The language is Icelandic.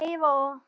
Heiða og